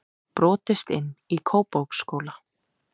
Brotist inn í Kópavogsskóla